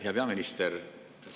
Hea peaminister!